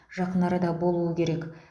жақын арада болуы керек